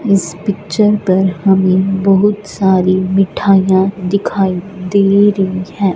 इस पिक्चर पर हमें बहुत सारी मिठाइयां दिखाई दे रही है।